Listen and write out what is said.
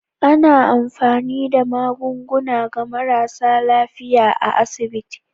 Ana amfani da magunguna ga marasa lafiyar a asiɓiti.